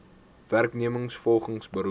werknemers volgens beroep